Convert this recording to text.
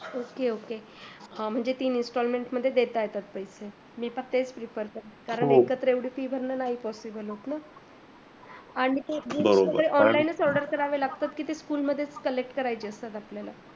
Ok ok म्हणजे तीन installement मध्ये देता येतात पैशे, मी पण तीच विचारलं, हो कारण एकत्र एवडी फी भरण नाही possible होत आणी books online order करावे लागतात कि ते school मध्ये order करावे लागतात